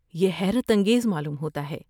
یہ حیرت انگیز معلوم ہوتا ہے۔